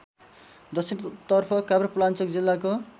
दक्षिणतर्फ काभ्रेपलाल्चोक जिल्लाको